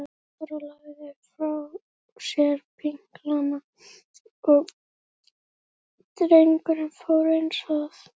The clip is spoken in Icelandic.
Jóra lagði frá sér pinklana og drengurinn fór eins að.